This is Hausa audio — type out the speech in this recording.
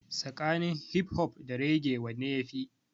Tsakanin hip hop da raggae wanne ya fi?